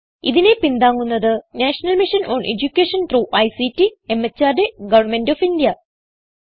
ഇതിനെ പിന്താങ്ങുന്നത് national mission on education through ICT MHRD government of India